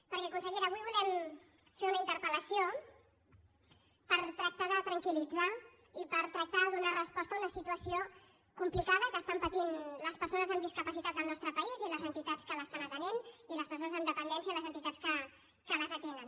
perquè consellera avui volem fer una interpel·lació per tractar de tranquilde donar resposta a una situació complicada que estan patint les persones amb discapacitat del nostre país i les entitats que les estan atenent i les persones amb dependència i les entitats que les atenen